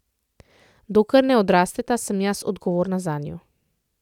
Dokler ne odrasteta, sem jaz odgovorna zanju.